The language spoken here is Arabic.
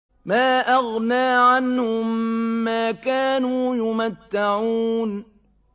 مَا أَغْنَىٰ عَنْهُم مَّا كَانُوا يُمَتَّعُونَ